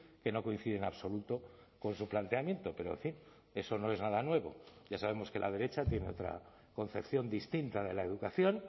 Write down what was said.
que no coincide en absoluto con su planteamiento pero en fin eso no es nada nuevo ya sabemos que la derecha tiene otra concepción distinta de la educación